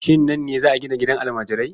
Shin nan ne za a gina gidan almajirai?